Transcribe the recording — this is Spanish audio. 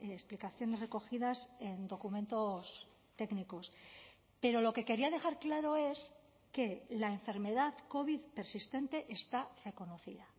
explicaciones recogidas en documentos técnicos pero lo que quería dejar claro es que la enfermedad covid persistente está reconocida